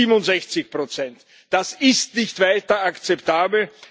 67 Das ist nicht weiter akzeptabel.